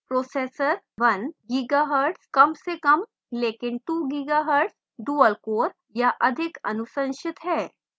processor: 1 gigahertz कम से कम लेकिन 2 gigahertz dual core या अधिक अनुशंसित है